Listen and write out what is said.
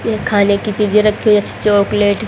ये खाने की चीजे रखी हुई अच्छी चॉकलेट --